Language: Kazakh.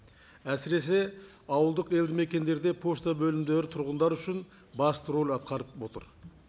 әсіресе ауылдық елді мекендерде пошта бөлімдері тұрғындар үшін басты рөл атқарып отыр